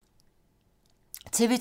TV 2